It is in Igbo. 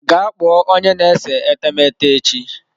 Gaa kpọọ onye na-ese etemeete echi!